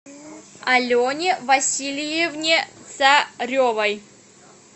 алене васильевне царевой